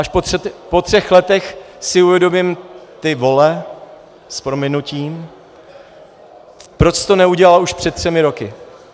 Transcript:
Až po třech letech si uvědomím, ty vole, s prominutím, proč jsi to neudělal už před třemi roky?